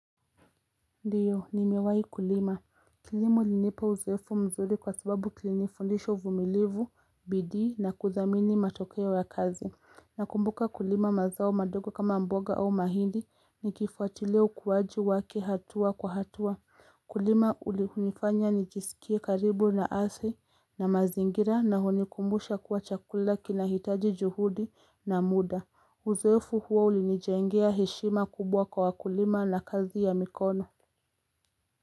Ndio, ni mewai kulima. Kilimo ilinipa uzoefu mzuri kwa sababu kilinifundisha uvumilivu, bidii na kudhamini matokeo ya kazi. Nakumbuka kulima mazao madogo kama mboga au mahindi ni kifuatilia ukuwaji wake hatua kwa hatua. UKulima ulinifanya nijiskie karibu na ardhi na mazingira na hunikumbusha kuwa chakula kinahitaji juhudi na muda. Uzoefu huo ulinijengea heshima kubwa kwa wakulima na kazi ya mikono.